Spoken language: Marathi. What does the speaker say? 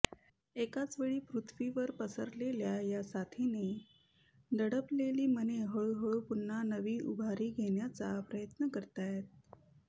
एकाच वेळी पृथ्वीभर पसरलेल्या या साथीने दडपलेली मने हळूहळू पुन्हा नवी उभारी घेण्याचा प्रयत्न करतायत